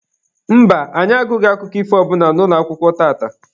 Mba, anyị agụghị akụkọ ifo ọ bụla n'ụlọakwụkwọ tata.